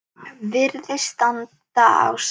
Virðist standa á sama.